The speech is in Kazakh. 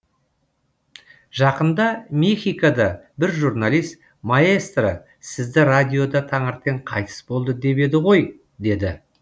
жақында мехикода бір журналист маэстро сізді радиода таңертең қайтыс болды деп еді ғой деді